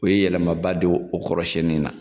U ye yɛlɛma ba don o kɔrɔsiyɛnni na.